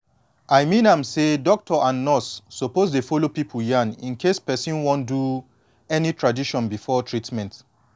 i mean am say doctor and nurse suppose dey follow pipu yan incase person wan do any tradition before treatment